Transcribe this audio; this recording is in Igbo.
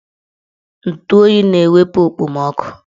Ntụ oyi na-ewepu okpomoọkụ